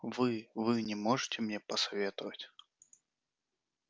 вы вы не можете мне посоветовать